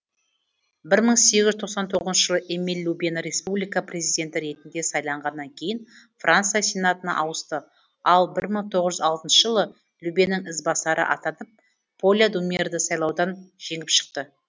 бір мың сегіз жүз тоқсан тоғызыншы жылы эмиль лубені республика президенті ретінде сайлағаннан кейін франция сенатына ауысты ал бір мың тоғыз жүз алтынгшы жылы лубенің ізбасары атанып поля думерді сайлаудан жеңіп шықты